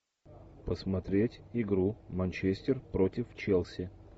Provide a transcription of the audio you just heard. посмотреть игру манчестер против челси